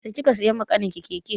Yaushe kika siya wa ƙanin ki keke?